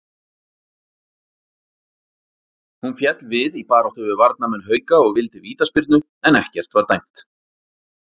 Hún féll við í baráttu við varnarmenn Hauka og vildi vítaspyrnu en ekkert var dæmt.